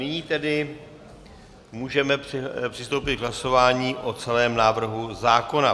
Nyní tedy můžeme přistoupit k hlasování o celém návrhu zákona.